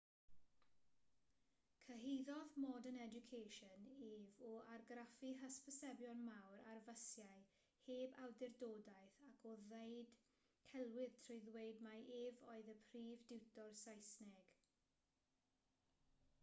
cyhuddodd modern education ef o argraffu hysbysebion mawr ar fysiau heb awdurdodaeth ac o ddweud celwydd trwy ddweud mai ef oedd y prif diwtor saesneg